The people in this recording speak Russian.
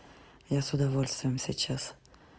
я с удовольствием сейчас